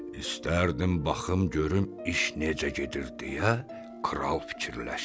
İstərdim baxım görüm iş necə gedir deyə kral fikirləşdi.